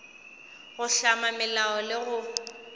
go hlama melao le go